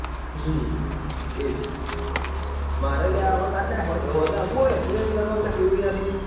હમ એજ મારે અલ્યા હોજે આવું હે કરવા